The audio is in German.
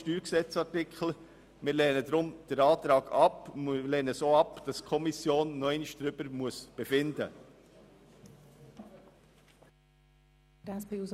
Deshalb lehnen wir den Antrag ab, und wir lehnen es auch ab, dass die Kommission noch einmal darüber befinden muss.